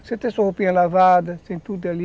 Você ter sua roupinha lavada, sem tudo ali.